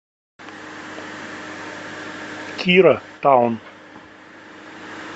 кира таун